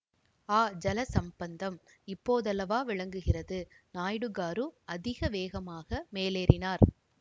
ஆ ஜல சம்பந்தம் இப்போதல்லவா விளங்குகிறது நாயுடுகாரு அதிக வேகமாக மேலேறினார்